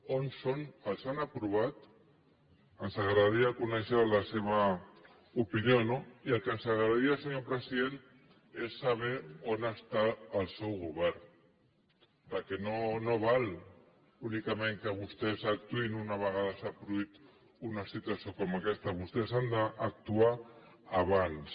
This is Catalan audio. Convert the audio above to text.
on són els han aprovat ens agradaria conèixer la seva opinió no i el que ens agradaria senyor president és saber on està el seu govern perquè no val únicament que vostès actuïn una vegada s’ha produït una situació com aquesta vostès han d’actuar abans